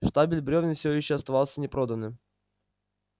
штабель брёвен всё ещё оставался непроданным